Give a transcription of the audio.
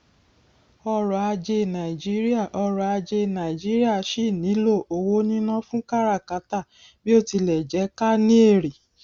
ọrọ ajé nàìjíríà ọrọ ajé nàìjíríà síì nílò owó níná fún káràkátà bí ó tilẹ jẹ ká ní èrè